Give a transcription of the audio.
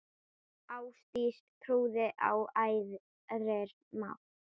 Ástdís trúði á æðri mátt.